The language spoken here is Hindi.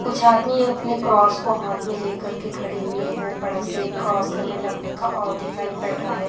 कुछ आदमी अपने क्रॉस को हाथ में लेकर के खड़े हुए है बड़ा सा एक क्रॉस लमे लकड़ी का और दिखाई पड़ रहा है।